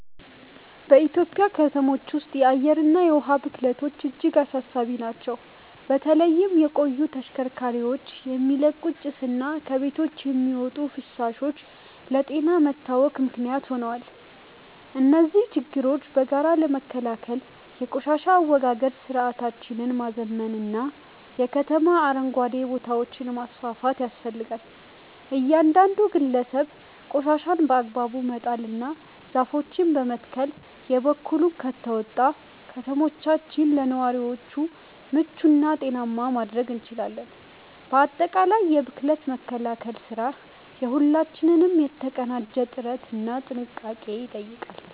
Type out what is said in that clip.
በኢትዮጵያ ከተሞች ውስጥ የአየርና የውሃ ብክለቶች እጅግ አሳሳቢ ናቸው። በተለይም የቆዩ ተሽከርካሪዎች የሚለቁት ጭስና ከቤቶች የሚወጡ ፍሳሾች ለጤና መታወክ ምክንያት ሆነዋል። እነዚህን ችግሮች በጋራ ለመከላከል የቆሻሻ አወጋገድ ስርዓታችንን ማዘመንና የከተማ አረንጓዴ ቦታዎችን ማስፋፋት ያስፈልጋል። እያንዳንዱ ግለሰብ ቆሻሻን በአግባቡ በመጣልና ዛፎችን በመትከል የበኩሉን ከተወጣ፣ ከተሞቻችንን ለነዋሪዎች ምቹና ጤናማ ማድረግ እንችላለን። ባጠቃላይ የብክለት መከላከል ስራ የሁላችንንም የተቀናጀ ጥረትና ጥንቃቄ ይጠይቃል።